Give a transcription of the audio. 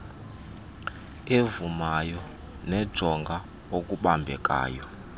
evumayo nejonga okubambekayo